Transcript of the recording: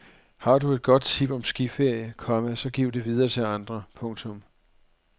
Har du et godt tip om skiferie, komma så giv det videre til andre. punktum